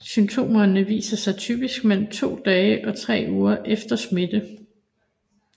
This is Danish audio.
Symptomerne viser sig typisk mellem to dage og tre uger efter smitte